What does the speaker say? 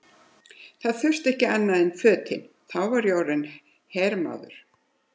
Það þurfti ekki annað en fötin, þá var ég orðinn hermaður!